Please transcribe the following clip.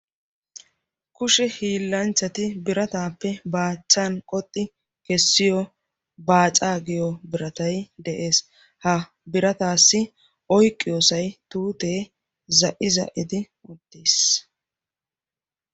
Kushe hiillanchchati birataappe baachchan qoxxi kessiyo baacaa giyo biratai de'ees. ha birataassi oiqqiyoosay tuutee za'i za'idi ottiis.